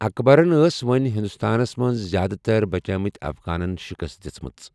اکبرن ٲس وۄنۍ ہندوستانس منٛز زیادٕ تر بَچیمٕتھ افغانن شکست دِژمٕژ۔